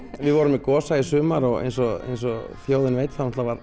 við vorum með Gosa í sumar og eins og eins og þjóðin veit þá